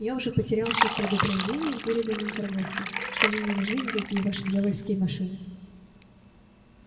я уже потерял счёт предупреждениям переданным торговцам что мне не нужны никакие ваши дьявольские машины